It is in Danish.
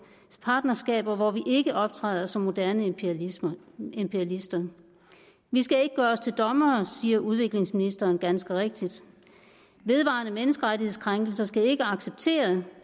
partnerskaber hvor vi ikke optræder som moderne imperialister imperialister vi skal ikke gøre os til dommere siger udviklingsministeren ganske rigtigt vedvarende menneskerettighedskrænkelser skal ikke accepteres